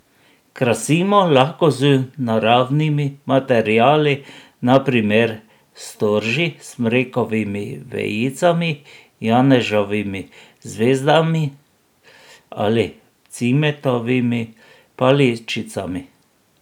Krasimo lahko z naravnimi materiali, na primer storži, smrekovimi vejicami, janeževimi zvezdami ali cimetovimi paličicami.